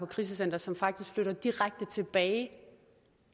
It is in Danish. krisecenter som faktisk flytter direkte tilbage